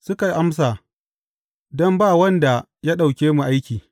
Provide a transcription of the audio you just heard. Suka amsa, Don ba wanda ya ɗauke mu aiki.’